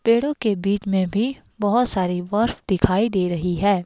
पेड़ों के बीच में भी बहुत सारी बर्फ दिखाई दे रही है।